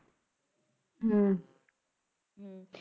ਹਮ